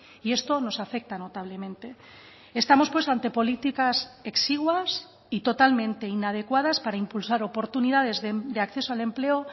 y esto nos afecta notablemente estamos pues ante políticas exiguas y totalmente inadecuadas para impulsar oportunidades de acceso al empleo